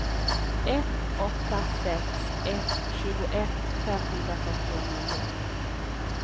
ett åtta sex ett tjugoett femhundrafyrtionio